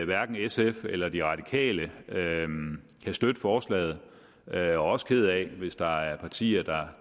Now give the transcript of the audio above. hverken sf eller de radikale kan støtte forslaget og jeg er også ked af hvis der er partier